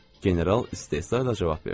General istehzayla cavab verdi.